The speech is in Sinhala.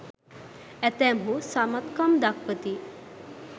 ඇතැම්හු සමත්කම් දක්වති